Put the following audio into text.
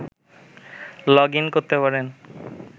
log in করতে পারেন